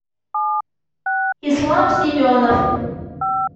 ислам семенов